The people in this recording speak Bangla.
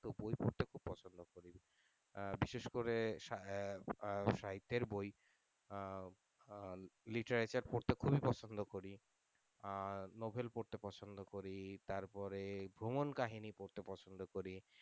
আহ বিশেষ করে আহ সাহিত্যের বই আহ আহ literature পরতে খুবই পছন্দ করি আহ novel পড়তে পছন্দ করি তারপরে ভ্রমন কাহিনি পড়তে পছন্দ করি।